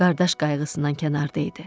Qardaş qayğısından kənarda idi.